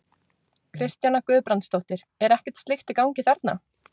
Kristjana Guðbrandsdóttir: Er ekkert slíkt í gangi þarna?